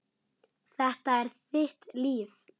Þetta er þitt líf!